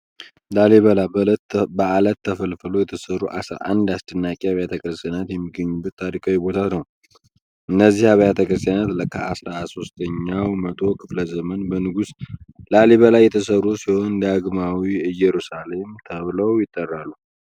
ላሊበላ በዐለት ተፈልፍለው የተሠሩ አስራ አንድ አስደናቂ አብያተ ክርስቲያናት የሚገኙበት ታሪካዊ ቦታ ነው። እነዚህ አብያተ ክርስቲያናት በ13ኛው መቶ ክፍለ ዘመን በንጉሥ ላሊበላ የተሠሩ ሲሆን፣ "ዳግማዊት ኢየሩሳሌም" ተብለው ይጠራሉ።